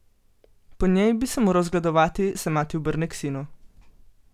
Po njej bi se moral zgledovati, se mati obrne k sinu.